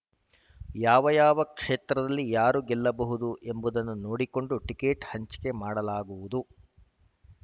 ಯಾವ್ಯಾವ ಕ್ಷೇತ್ರದಲ್ಲಿ ಯಾರು ಗೆಲ್ಲಬಹುದು ಎಂಬುದನ್ನು ನೋಡಿಕೊಂಡು ಟಿಕೆಟ್‌ ಹಂಚಿಕೆ ಮಾಡಲಾಗುವುದು